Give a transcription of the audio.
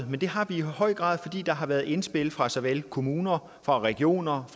men det har vi i høj grad fordi der har været indspil fra såvel kommuner og regioner